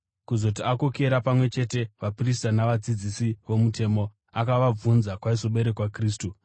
Kuzoti akokera pamwe chete vaprista navadzidzisi vomutemo, akavabvunza kwaizoberekerwa Kristu.